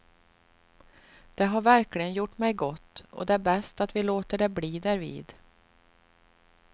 Det har verkligen gjort mig gott, och det är bäst att vi låter det bli därvid.